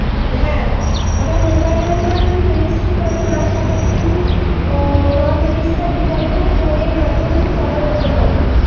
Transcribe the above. হ্যাঁ। আবার mobile number registe করা না থাকলে কিন্তু আহ নাম register বিকল্প phone এর মাধ্যমে কিন্তু order পারবি।